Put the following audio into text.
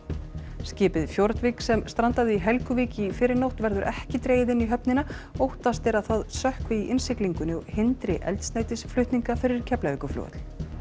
skipið Fjordvik sem strandaði í Helguvík í fyrrinótt verður ekki dregið inn í höfnina óttast er að það sökkvi í innsiglingunni og hindri eldsneytisflutninga fyrir Keflavíkurflugvöll